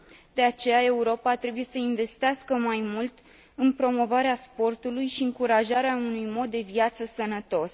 De aceea, Europa trebuie să investească mai mult în promovarea sportului și încurajarea unui mod de viață sănătos.